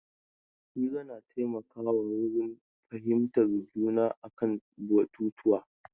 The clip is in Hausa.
Hira na taimaka wa wurin fahimtar juna a kan batutuwa.